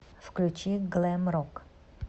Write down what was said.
включи глэм рок